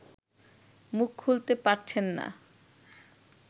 মুখ খুলতে পারছেন না